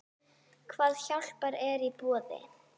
Hvað hjálp er í boði?